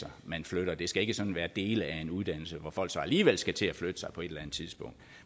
man flytter det skal ikke sådan være dele af en uddannelse hvor folk så alligevel skal til at flytte sig på et eller andet tidspunkt